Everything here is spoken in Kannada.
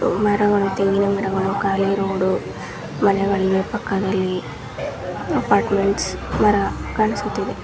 ಮರವ ತೆಂಗಿನ ಮರಾವ್ ಕಾಳಿ ರೋಡ್ ಮನೆ ಪಕ್ಕದಲ್ಲಿ ಅಪಾರ್ಟ್ಮೆಂಟ್ಸ್ ಮರ ಕಾನಿಸ್ತಾ ಇದೆ.